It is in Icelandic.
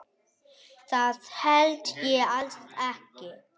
Það held ég alls ekki.